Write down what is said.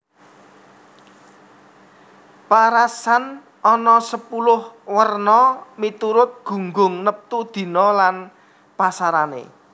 Paarasan ana sepuluh werna miturut gunggung neptu dina lan pasarané